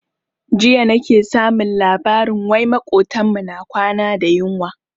Jiya nake samun labarin wai makotan mu na kwana da yunwa.